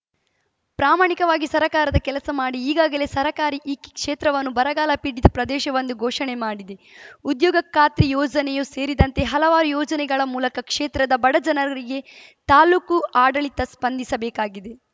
ಪ್ರಾಮಾಣಿಕವಾಗಿ ಸರ್ಕಾರದ ಕೆಲಸ ಮಾಡಿ ಈಗಾಗಲೇ ಸರ್ಕಾರಿ ಈ ಕ್ಷೇತ್ರವನ್ನು ಬರಗಾಲ ಪೀಡಿತ ಪ್ರದೇಶವೆಂದು ಘೋಷಣೆ ಮಾಡಿದೆ ಉದ್ಯೋಗ ಖಾತ್ರಿ ಯೋಜನೆಯೂ ಸೇರಿದಂತೆ ಹಲವಾರು ಯೋಜನೆಗಳ ಮೂಲಕ ಕ್ಷೇತ್ರದ ಬಡ ಜನರಿಗೆ ತಾಲೂಕು ಆಡಳಿತ ಸ್ಪಂದಿಸಬೇಕಾಗಿದೆ